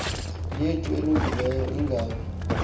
yethu elungileyo ingabi